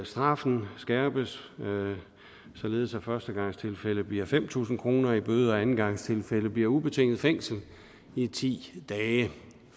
straffen skærpes således at førstegangstilfælde giver fem tusind kroner i bøde og i andengangstilfælde bliver det ubetinget fængsel i ti dage